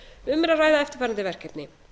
um er ræða eftirfarandi verkefni